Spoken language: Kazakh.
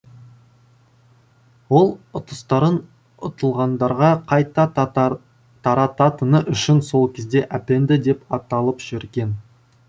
ол ұтыстарын ұтылғандарға қайта тарататыны үшін сол кезде әпенді деп аталып жүрген